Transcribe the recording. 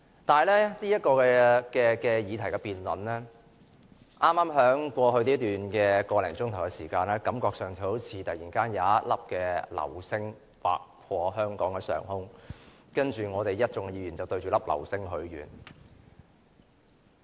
但是，這項議案辯論，在剛過去的個多小時內，感覺上好像突然有一顆流星劃過香港上空，然後一眾議員便向着這顆流星許願。